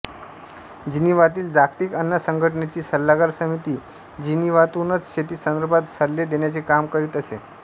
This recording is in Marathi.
जिनिव्हातील जागतिक अन्न संघटनेची सल्लागार समिती जिनिव्हातूनच शेतीसंदर्भात सल्ले देण्याचे काम करीत असे